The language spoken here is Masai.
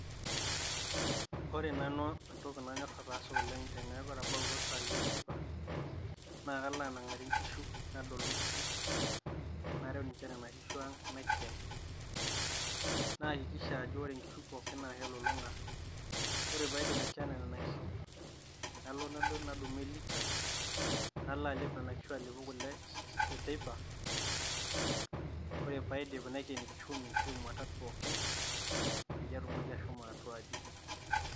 Ore nanu entoki nanyor ataasa oleng' teneeku etabautua isaai enteipa, naake alo anang'are inkishu, nadolu inkishu, nareu ninye nena kishu aang' naiken naakikisha ajo kore inkishu pooki naake elulung'a. Ore paidip akikena nena kishu, nalo nadumu elita nalo alep nenakishu alepu kule e teipa, kore paidip naiken kishomi ashu mwatat pookin peyie atumoki ashomo atua aji.